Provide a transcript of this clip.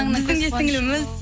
біздің де сіңліліміз